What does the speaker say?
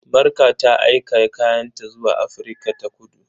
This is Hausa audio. Marka ta aika kayanta zuwa Afirka-ta-kudu.